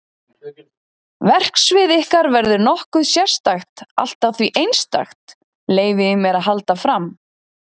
Verksvið ykkar verður nokkuð sérstakt allt að því einstakt, leyfi ég mér að halda fram.